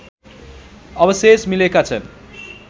अवशेष मिलेका छन्